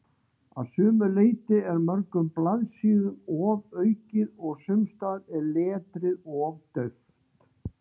Að sumu leyti er mörgum blaðsíðum ofaukið og sumsstaðar er letrið of dauft.